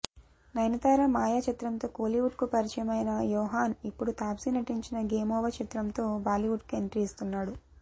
నయనతార మాయ చిత్రంతో కోలీవుడ్కు పరిచయం అయిన యోహాన్ ఇప్పుడు తాప్సీ నటించిన గేమ్ఓవర్ చిత్రంతో బాలీవుడ్కు ఎంట్రీ ఇస్తున్నాడు